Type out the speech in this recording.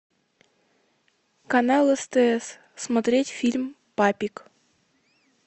канал стс смотреть фильм папик